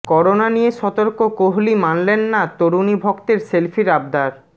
corona নিয়ে সতর্ক কোহালি মানলেন না তরুণী ভক্তের সেলফির আবদার